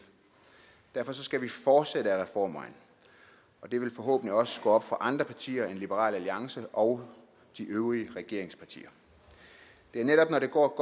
derfor skal vi fortsætte ad reformvejen og det vil forhåbentlig også gå op for andre partier end liberal alliance og de øvrige regeringspartier det er netop når det går